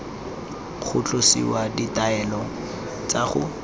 go tlosiwa ditaelo tsa go